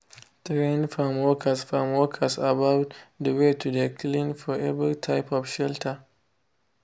train farm workers farm workers about de way to de clean for every type of shelter.